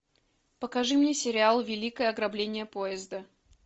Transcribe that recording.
покажи мне сериал великое ограбление поезда